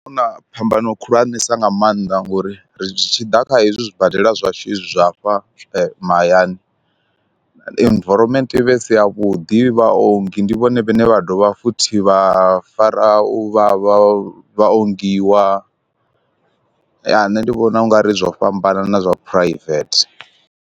Huna phambano khulwanesa nga maanḓa ngori ri tshi ḓa kha hezwi zwibadela zwashu hezwi zwa fha mahayani, environment i vhe i si yavhuḓi vha ongi ndi vhone vhane vha dovha futhi vha fara u vha vha ongiwa, ya nṋe ndi vhona ungari zwo fhambana na zwa private.